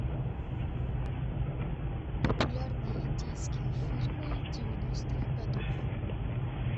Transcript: популярные индийские фильмы девяностых годов